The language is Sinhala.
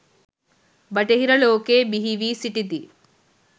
බටහිර ලෝකයේ බිහි වී සිටිති